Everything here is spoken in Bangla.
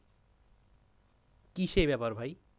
কি সেই ব্যাপার ভাই?